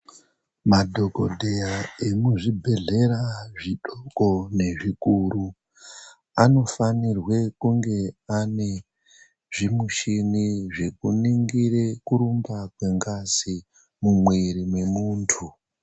Madhokodheya emuzvibhehlera zvidoko ngezvikuru anofanirwe kunge ane zvimichini zvekuningire kurumba kwengazi mumwiri mwemuntu.